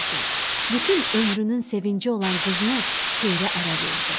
Bütün ömrünün sevinci olan qızını Xeyrə ərə verdi.